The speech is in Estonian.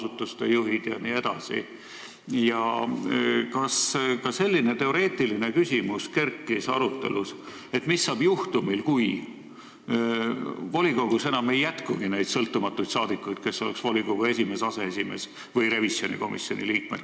Kas kerkis arutelus ka selline teoreetiline küsimus, mis saab juhul, kui volikogus enam ei jätkugi neid sõltumatuid saadikuid, kes saaksid olla volikogu esimees, aseesimees või revisjonikomisjoni liige?